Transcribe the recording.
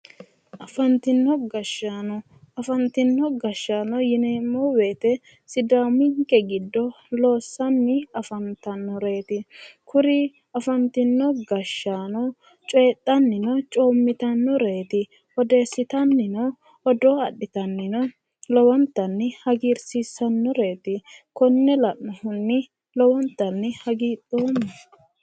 Afantinno gashshaano. Afantinno gashshaano yineemmo woyite sidaaminke giddo loossanni afantaworeeti. Kuri afantinno gashshaano coyidhannino coommitannoreeti. Odeessitannino odoo adhitannino lowontanni hagiirsiissannoreeti. Konne la'nohunni lowontanni hagidhoomma.